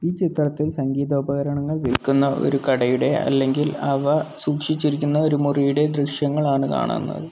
ഈ ചിത്രത്തിൽ സംഗീതോപകരണങ്ങൾ വിൽക്കുന്ന ഒരു കടയുടെ അല്ലെങ്കിൽ അവ സൂക്ഷിച്ചിരിക്കുന്ന ഒരു മുറിയുടെ ദൃശ്യങ്ങളാണ് കാണുന്നത്.